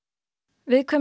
viðkvæm